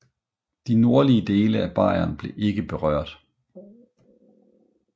De nordlige dele af Bayern blev ikke berørt